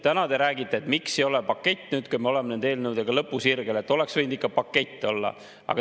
Täna te räägite, et miks ei ole pakett, kui me oleme nende eelnõudega lõpusirgel, et oleks võinud ikka pakett olla.